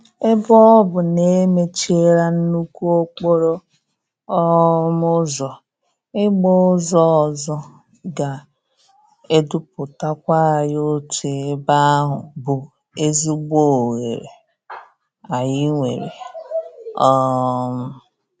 Ebe ọ bụ na-emechiela nnukwu okporo um ụzọ, ị gba ụzọ ọzọ ga-eduputakwa anyị otu ebe ahụ bụ ezigbo oghere anyị nwere. um